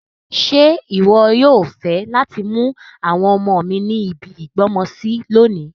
Ṣe wọ yoo fẹ lati mu àwọn ọmọ mi ni ibi ìgbọ́mọsi lonìí